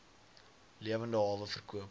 lewende hawe verkoop